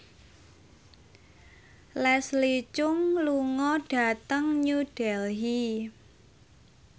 Leslie Cheung lunga dhateng New Delhi